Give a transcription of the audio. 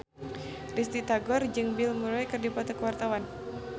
Risty Tagor jeung Bill Murray keur dipoto ku wartawan